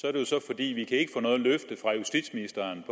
er det så fordi vi ikke få noget løfte fra justitsministeren